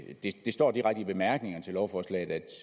det står direkte i bemærkningerne til lovforslaget at